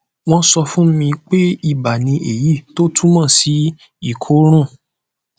wọn sọ fún mi pé iba ni èyí tó túmọ sí ìkóràn